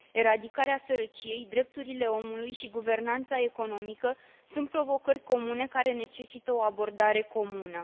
Eradicarea sărăciei, drepturile omului și guvernanța economică sunt provocări comune care necesită o abordare comună.